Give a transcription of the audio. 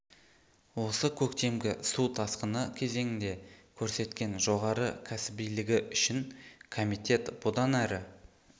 осы көктемгі су тасқыны кезеңінде көрсеткен жоғары кәсібилігі үшін комитет бұдан әрі